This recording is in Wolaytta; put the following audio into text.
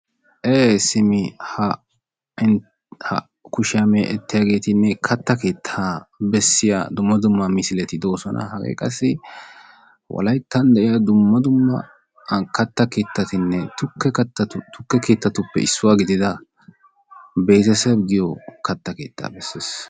ee simma ha kushiya meeccettiyaageetinne katta keettaa bessiya dumma dumma misiletti de'oosona. hagee qassi wolayttan de'iya dumma dumma katta keettatinne tuke kata tukke keettattuppe issuwa gidddida beeteseb giyo katta keettaa besees.